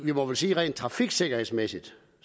må vel sige at rent trafiksikkerhedsmæssigt